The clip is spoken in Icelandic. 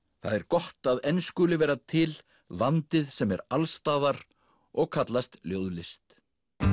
það er gott að enn skuli vera til landið sem er alls staðar og kallast ljóðlist